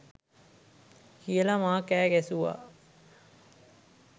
කියලා මා කෑ ගැසුවා.